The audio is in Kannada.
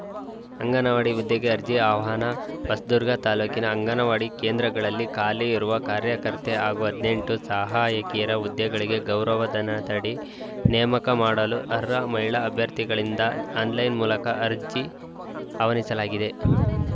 ಅಂಗನವಾಡಿ ಹುದ್ದೆಗೆ ಅರ್ಜಿಆಹ್ವಾನ ಹೊಸದುರ್ಗ ತಾಲೂಕಿನ ಅಂಗನವಾಡಿ ಕೇಂದ್ರಗಳಲ್ಲಿ ಖಾಲಿ ಇರುವ ಕಾರ್ಯಕರ್ತೆ ಹಾಗೂ ಹದಿನೆಂಟು ಸಹಾಯಕಿಯರ ಹುದ್ದೆಗಳಿಗೆ ಗೌರವಧನದಡಿ ನೇಮಕ ಮಾಡಲು ಅರ್ಹ ಮಹಿಳಾ ಅಭ್ಯರ್ಥಿಗಳಿಂದ ಆನ್‌ಲೈನ್‌ ಮೂಲಕ ಅರ್ಜಿ ಅವನಿಸಲಾಗಿದೆ